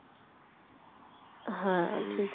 হ্যাঁ ঠিক ও